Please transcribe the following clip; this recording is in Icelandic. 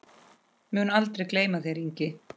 Mun aldrei gleyma þér, Ingi.